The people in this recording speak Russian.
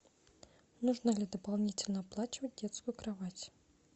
нужно ли дополнительно оплачивать детскую кровать